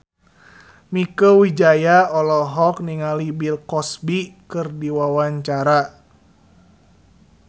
Mieke Wijaya olohok ningali Bill Cosby keur diwawancara